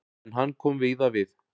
En hann kom víða við.